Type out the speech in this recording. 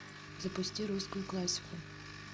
запусти русскую классику